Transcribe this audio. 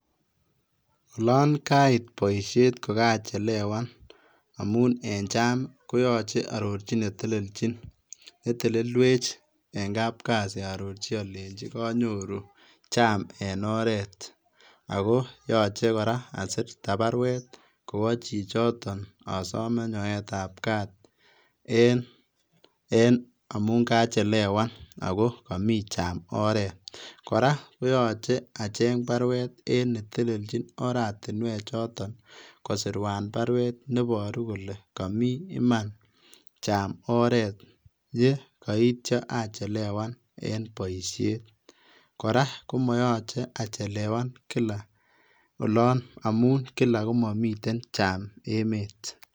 Olon kait boisiet ko kachelewan amun en jam koyoche aarorchi ne teleljin, netelelwech eng kapkasi aarorji alenji kanyoru [c]jam en oret. Ako yache kora asirta barwet kowo chichoton asome nyoetap kaat en amun kaachelewan ako komi [csjam oret. Kora koyoche acheng' baruet en neteljin oratinwechoton, kosirwan baruet neboru kole kami iman jam oret ye koityo achelewan en boisiet. Kora komoyoche achelewan kila, olon amun kila ko mamiten jam emeet.